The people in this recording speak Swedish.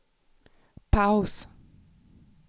paus